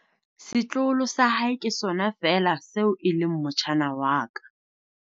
setloholo sa hae ke sona feela seo e leng motjhana wa ka